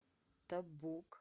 табук